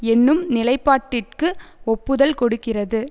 என்னும் நிலைப்பாட்டிற்கு ஒப்புதல் கொடுக்கிறது